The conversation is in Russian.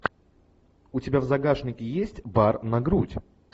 у тебя в загашнике есть бар на грудь